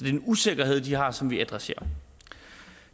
en usikkerhed de har som vi adresserer